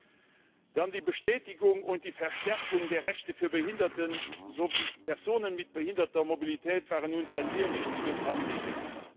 Auch die Bestätigung und Verstärkung der Rechte für Behinderte sowie Personen mit behinderter Mobilität waren uns ein sehr wichtiges Anliegen.